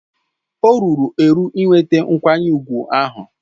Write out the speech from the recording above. O ruru eru inweta nkwanye ùgwù ahụ.